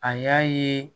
A y'a ye